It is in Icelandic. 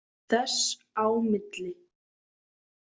þess á milli.